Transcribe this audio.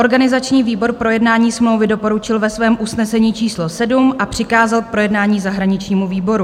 Organizační výbor projednání smlouvy doporučil ve svém usnesení číslo 7 a přikázal k projednání zahraničnímu výboru.